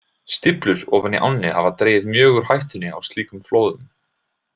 Stíflur ofar í ánni hafa dregið mjög úr hættunni á slíkum flóðum.